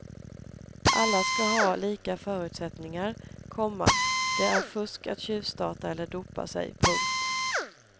Alla ska ha lika förutsättningar, komma det är fusk att tjuvstarta eller dopa sig. punkt